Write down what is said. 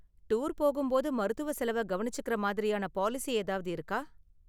Tour போகும்போது மருத்துவ செலவை கவனிச்சுக்கிற மாதிரியான பாலிசி ஏதாவது இருக்கா?